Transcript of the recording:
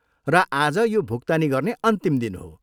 र आज यो भुक्तानी गर्ने अन्तिम दिन हो।